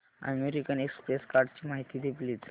American Express कार्डची माहिती दे प्लीज